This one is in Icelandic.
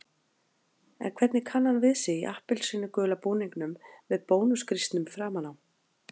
En hvernig kann hann við sig í appelsínugula búningnum með Bónus-grísnum framan á?